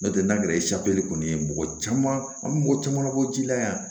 N'o tɛ n'a kɛra kɔni ye mɔgɔ caman an mɔgɔ caman bɔ ji la yan